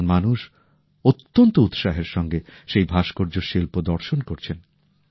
সাধারণ মানুষ অত্যন্ত উৎসাহের সঙ্গে সেই ভাস্কর্য শিল্প দর্শন করছেন